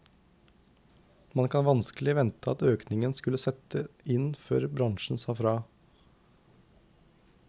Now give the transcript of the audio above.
Man kan vanskelig vente at økningen skulle sette inn før bransjen sa fra.